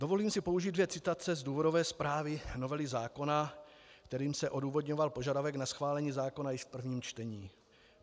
Dovolím si použít dvě citace z důvodové zprávy novely zákona, kterými se odůvodňoval požadavek na schválení zákona již v prvním čtení.